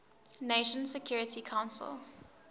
nations security council